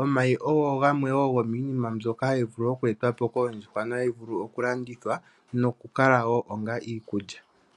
omayi oyo yimwe yomiinima mbyoka hayi vulu okweetwa po koondjuhwa nohayi vulu okulandithwa nokukala wo onga iikulya.